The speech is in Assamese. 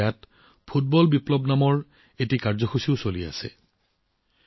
এতিয়া ইয়াত ফুটবল বিপ্লৱ নামৰ এটা অনুষ্ঠানো চলি আছে